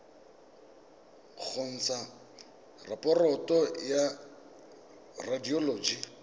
go ntsha raporoto ya radioloji